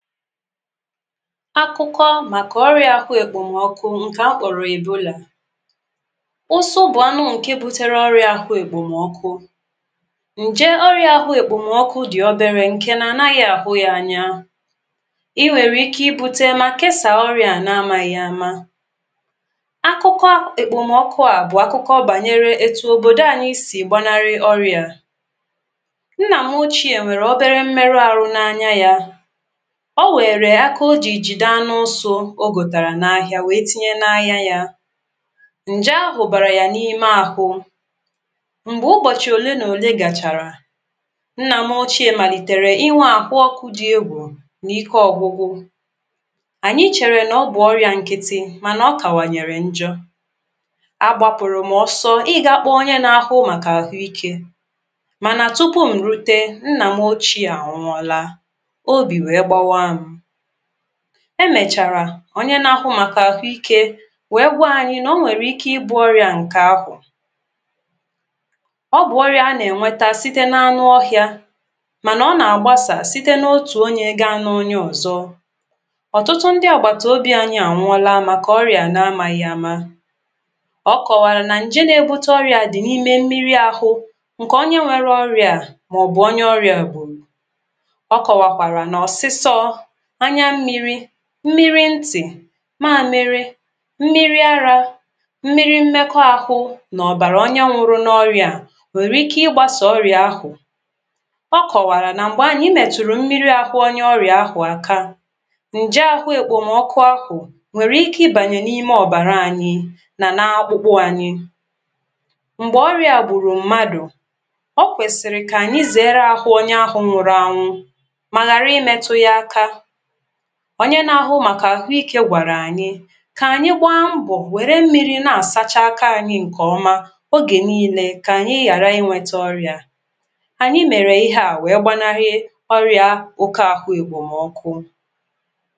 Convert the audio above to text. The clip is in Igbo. Akụkọ maka ọrịa ahụ ekpomọkụ nke akpọrọ Ebolà. Ụsụ bụ anụ nke butere ọrịa ahụ ekpomọkụ. Nje ọrịa ahụ ekpomọkụ dị oberė nke na anaghị ahụ ya anya, ì nwere ike ibute ma kesaa ọrịa na-amaghị ama .ah Akụkọ ekpomọkụ a bụ akụkọ banyere etu obodo anyị si gbanarị ọrịa a. Nna m ochie nwere obere mmerụ ahụ n’anya ya, ọ weèrè akà o jì jìde anụ ụsu o gòtàrà n’ahịa wee tinye n’anya yȧ, ǹje ahụ̀ bàrà yà n’ime àhụ. Mgbè ụbọ̀chị̀ òle nà òle gàchàrà, nnà m ochie màlìtèrè inwė ahụ okụ̇ dị egwù nà ike ọ̀gwụgwụ, ànyị chèrè nà ọ bụ̀ ọrịà nkịtị̇ mànà ọ kàwànyèrè njọ. A gbapụ̀rụ̀ m ọsọ ịgȧ kpọọ onye n’ahụ màkà àhụ ikė mànà tupu m̀ rute, Nnà m ochie ànwụọla, obi weé gbawaam. Emèchàrà onye na-ahụ màkà àhụ ikė wee gwa anyị nà onwèrè ike ịbụ̇ ọrịà ǹkè ahụ̀, ọ bụ̀ ọrịà a nà-ènweta site n’anụ ọhịȧ mànà ọ nà-àgbasaà site n’otù onye gaa n’onye ọ̀zọ. Ọtụtụ ndị àgbàtàobi anyị ànwụọla maka ọrịà, na-amaghị ama. ọ kọ̀wàrà nà ǹje na-ebute ọrịà dị̀ n’ime mmiri ahụ ǹkè onye nwere ọrịà a, màọbụ̀ onye ọrịà gbùrù. Ọ kọ̀wàkwàrà na ọ̀sịsọ, anyà mmịrị̇, mmịrị̇ ntị̀, mamịrị̇, mmịrị̇ ara, mmịrị̇ mmekọ ahụ nà ọ̀bàrà onye nwụrụ n’ọrịà, nwèrè ike ịgbȧsȧ ọrịà ahụ̀. Ọ kọ̀wàrà nà m̀gbè anyị mètụ̀rụ̀ mmịrị̇ ahụ̀ onye ọrịà ahụ̀ aka, ǹje ahụ̀ èkpòmọkụ ahụ̀ nwèrè ike ibànye n’ime ọ̀bàrà anyị nà nȧ akpụkpụ anyị, m̀gbè ọrịà gbùrù mmadù, o kwèsìrì kà ànyị zèere ahụ̀ onye ahụ̀ nwụrụ anwụ mà ghàra imetù ya aka. Onye na-ahụ màkà àhụ ikė gwàrà ànyị kà ànyị gbaa mbọ̀ wère mmiri̇ na-àsacha aka anyị ǹkè ọma ogè niile kà ànyị ghàra inwete ọrịà a. Anyị mèrè ihe a wèe gbanarị ọrịà oke àhụ èkpòmọkụ